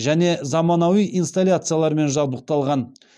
және заманауи инсталляциялармен жабдықталған